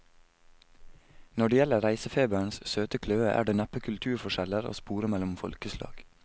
Når det gjelder reisefeberens søte kløe, er det neppe kulturforskjeller å spore mellom folkeslag.